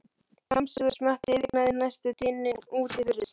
Kjamsið og smjattið yfirgnæfði næstum dyninn úti fyrir.